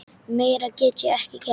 Meira get ég ekki gert.